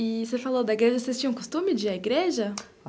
E você falou da igreja, vocês tinham costume de ir à igreja?